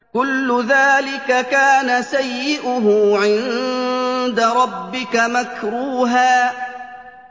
كُلُّ ذَٰلِكَ كَانَ سَيِّئُهُ عِندَ رَبِّكَ مَكْرُوهًا